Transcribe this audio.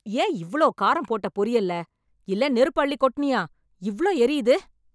ஏன் இவ்ளோ காரம் போட்ட பொரியல்ல? இல்ல நெருப்பு அள்ளி கொட்டுனியா இவ்ளோ எரியுது?